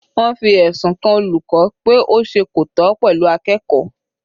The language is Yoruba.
Wọ́n fi ẹ̀sùn kan olùkọ́ náà pé ó ṣe kò tọ́ pẹ̀lú akẹ́kọ̀ọ́.